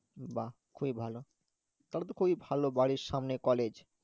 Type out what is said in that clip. বা খুবই ভালো, তাহলে তো খুবই ভালো বাড়ির সামনে college